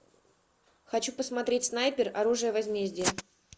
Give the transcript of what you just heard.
хочу посмотреть снайпер оружие возмездия